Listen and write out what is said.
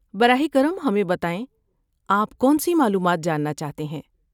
براہ کرم ہمیں بتائیں آپ کون سی معلومات جاننا چاہتے ہیں۔